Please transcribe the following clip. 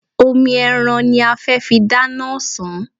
Omi ẹran ní a fẹ́ fi dáná ọ̀sán.